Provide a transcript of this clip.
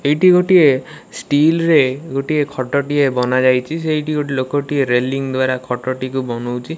ଏଇଠି ଗୋଟିଏ ଷ୍ଟିଲରେ ଗୋଟିଏ ଖଟଟିଏ ବନାଯାଇଚି। ସେଇଠି ଗୋଟିଏ ଲୋକଟିଏ ରେଲିଂ ଦ୍ୱାରା ଖଟଟିକୁ ବନଉଚି।